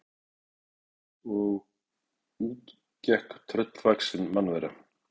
Það galopnaðist og út gekk tröllvaxin mannvera.